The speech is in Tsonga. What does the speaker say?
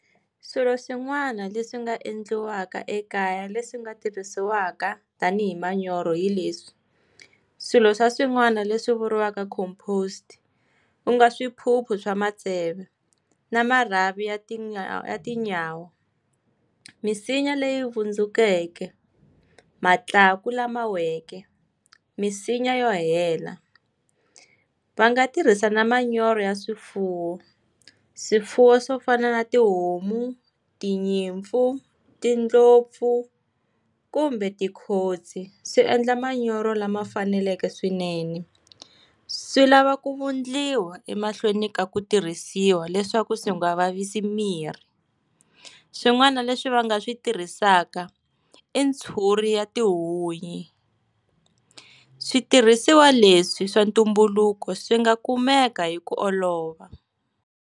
Swilo swin'wana leswi nga endliwaka ekaya leswi nga tirhisiwaka tanihi manyoro hi leswi. Swilo swa swin'wana leswi vuriwaka composed, ku nga swiphuphu swa maseve, na marhavi ya ya tinyawa, misinya leyi vundzukeke, matlaku lama weke, minsinya yo hela. Va nga tirhisa na manyoro ya swifuwo. Swifuwo swo fana na tihomu, tinyimpfu, tindlopfu, kumbe tikhotsi. Swi endla manyoro lama faneleke swinene. Swi lava ku vundliwa emahlweni ka ku tirhisiwa leswaku swi nga vavisi mirhi. Swin'wana leswi va nga swi tirhisaka, i ntshuri ya tihunyi. Switirhisiwa leswi swa ntumbuluko swi nga kumeka hi ku olova.